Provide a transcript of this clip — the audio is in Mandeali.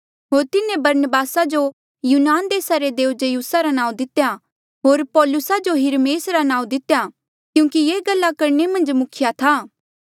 होर तिन्हें बरनबासा जो यूनान देसा रे देऊ ज्यूसा रा नाऊँ दितेया होर पौलुसा जो हिरमेस रा नाऊँ दितेया क्यूंकि ये गल्ला करणे मन्झ मुख्या था